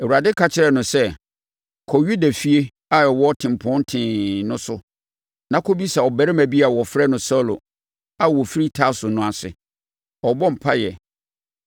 Awurade ka kyerɛɛ no sɛ, “Kɔ Yuda efie a ɛwɔ Tempɔn Tee no so na kɔbisa ɔbarima bi a wɔfrɛ no Saulo a ɔfiri Tarso no ase; ɔrebɔ mpaeɛ.